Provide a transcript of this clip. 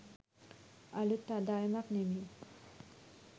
අළුත් ආදායමක් නෙමෙයි